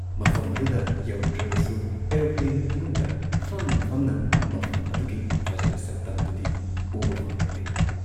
ꯃꯐꯝ ꯑꯗꯨꯗ ꯌꯧꯔꯨꯗ꯭ꯔꯕꯁꯨ ꯑꯦꯔꯣꯄ꯭ꯂꯦꯟ ꯃꯅꯨꯡꯗ ꯐꯝꯅ ꯐꯝꯅ ꯃꯐꯝ ꯑꯗꯨꯒꯤ ꯐꯖꯕ ꯁꯛꯇꯝꯗꯨꯗꯤ ꯎꯕ ꯐꯪꯂꯛꯂꯦ ꯫